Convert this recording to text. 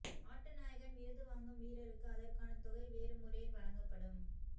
ஆட்டநாயகன் விருது வாங்கும் வீரருக்கு அதற்கான தொகை வேறு முறையில் வழங்கப்படும்